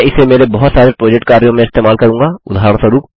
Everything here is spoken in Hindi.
मैं इसे मेरे बहुत सारे प्रोजेक्ट कार्यों में इस्तेमाल करूँगा